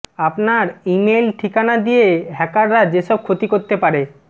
আপনার ইমেইল ঠিকানা দিয়ে হ্যাকাররা যেসব ক্ষতি করতে পারে